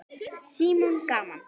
Símon: Gaman?